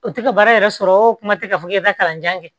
O tɛ ka baara yɛrɛ sɔrɔ o kuma tɛ ka fɔ k'e bɛ taa kalanjan kɛ